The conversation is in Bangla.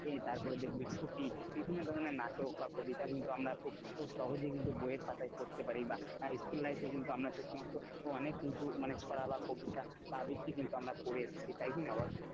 তারপরে দেখবি ছুটি বিভিন্ন ধরনের নাটক বা কবিতা কিন্তু আমরা খুব সহজেই কিন্তু বইয়ের পাতায় পড়তে পারি বা school life এ আমরা কিন্তু সে সমস্ত অনেক কিন্তু ছড়া বা কবিতা বা আবৃত্তি কিন্তু আমরা পড়ে এসেছি তাই কিনা বল,